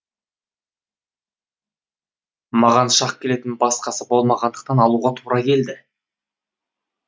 маған шақ келетін басқасы болмағандықтан алуға тура келді